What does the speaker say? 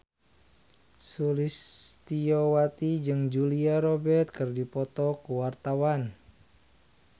Sulistyowati jeung Julia Robert keur dipoto ku wartawan